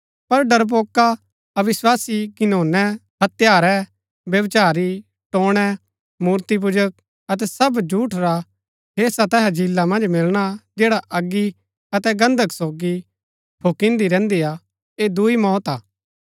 पर डरपोका अविस्वासी घिनौने हत्यारै व्यभिचारी टोन्णै मूर्तिपूजक अतै सब झूठ रा हेस्सा तैसा झीला मन्ज मिलणा जैडा अगी अतै गन्धक सोगी फुक्किदीं रैहन्‍दी हा ऐह दूई मौत हा